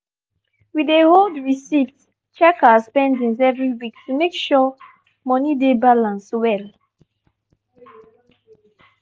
we dey hold receipts check our spendings every week to make sure money dey balance well.